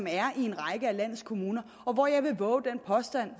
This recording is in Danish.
er i en række af landets kommuner jeg vil vove den påstand